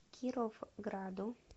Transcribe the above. кировграду